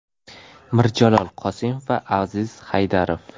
Mirjalol Qosimov va Aziz Haydarov.